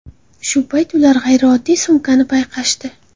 Shu payt ular g‘ayrioddiy sumkani payqashdi.